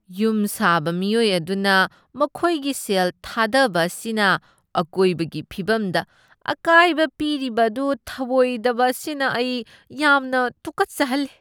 ꯌꯨꯝ ꯁꯥꯕ ꯃꯤꯑꯣꯏ ꯑꯗꯨꯅ ꯃꯈꯣꯏꯒꯤ ꯁꯦꯜ ꯊꯥꯗꯕ ꯑꯁꯤꯅ ꯑꯀꯣꯏꯕꯒꯤ ꯐꯤꯚꯝꯗ ꯑꯀꯥꯏꯕ ꯄꯤꯔꯤꯕ ꯑꯗꯨ ꯊꯧꯑꯣꯏꯗꯕ ꯑꯁꯤꯅ ꯑꯩ ꯌꯥꯝꯅ ꯇꯨꯀꯠꯆꯍꯜꯂꯤ꯫